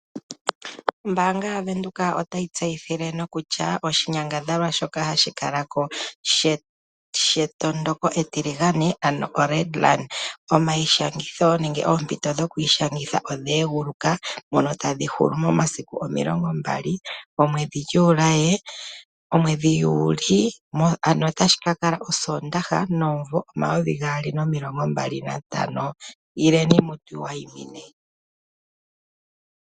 Ombaanga yaVenduka otayi tseyithile nokutya oshinyangadhalwa shoka hashi kala ko shetondoko etiligane, ano oRed run omayishangitho nenge oompito dhokwiishangitha odha eguluka ndhono tadhi hulu mo 20 Juli, ano otashi ka kala osoondaha, omunvo 2025. Ano ileni mutu wayimine.